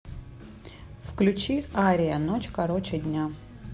включи ария ночь короче дня